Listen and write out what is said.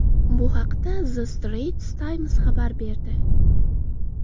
Bu haqda The Straits Times xabar berdi.